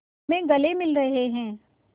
में गले मिल रहे हैं